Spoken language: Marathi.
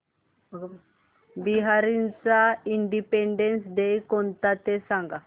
बहारीनचा इंडिपेंडेंस डे कोणता ते सांगा